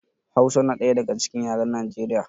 Hausa na ɗaya daga cikin yaran Nijeriya